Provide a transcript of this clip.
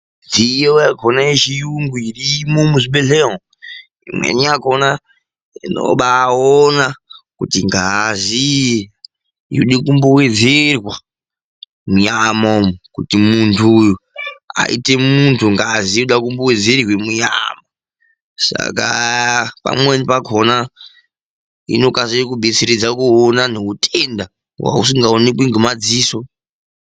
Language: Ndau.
Mishina iri kuzvibhedhlera inobaona kuti ngazi yode kumbowedzerwa munyama kuti muntu uyu aite muntu uye inobetseredza kuona kunyangwe neutenda husingaoneki ngemadziso.